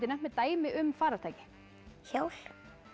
nefnt mér dæmi um farartæki hjól